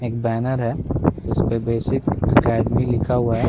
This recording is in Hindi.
एक बैनर है जिसपे बेसिक अकेडेमी लिखा हुआ हैं।